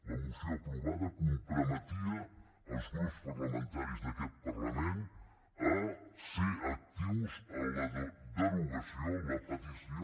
la moció aprovada comprometia els grups parlamentaris d’aquest parlament a ser actius en la derogació en la petició